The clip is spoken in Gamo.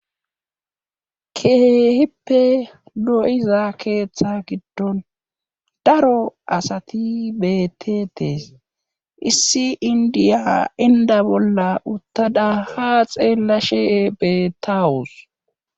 keehippe lo7iza keeththa giddon daro asati betetees issi indiya inda bolla uttada haa xeelashe betawos